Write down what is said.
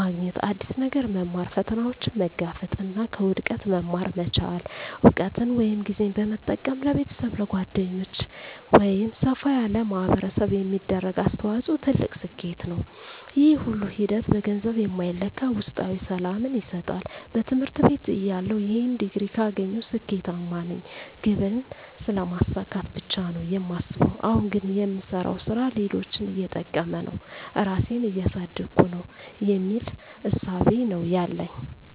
ማግኘት። አዲስ ነገር መማር፣ ፈተናዎችን መጋፈጥ እና ከውድቀት መማር መቻል። እውቀትን ወይም ጊዜን በመጠቀም ለቤተሰብ፣ ለጓደኞች ወይም ሰፋ ላለ ማኅበረሰብ የሚደረግ አስተዋጽኦ ትልቅ ስኬት ነው። ይህ ሁሉ ሂደት በገንዘብ የማይለካ ውስጣዊ ሰላምን ይሰጣል። በትምህርት ቤትተያለሁ "ይህን ዲግሪ ካገኘሁ ስኬታማ ነኝ" ግብን ስለማሳካት ብቻ ነው የማስበው። አሁን ግን "የምሰራው ሥራ ሌሎችን እየጠቀመ ነው? ራሴን እያሳደግኩ ነው?" የሚል እሳቤ ነው ያለኝ።